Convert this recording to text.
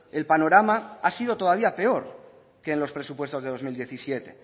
el panorama ha sido todavía peor que en los presupuestos del dos mil diecisiete